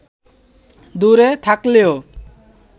দূরে থাকলেও